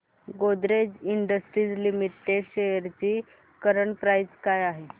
Godrej Industries Limited shares ची current price काय आहे